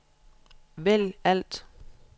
vælg alt